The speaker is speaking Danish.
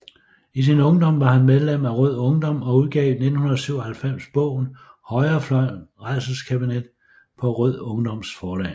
I sin ungdom var han medlem af Rød Ungdom og udgav i 1997 bogen Højrefløjens rædselskabinet på Rød Ungdoms Forlag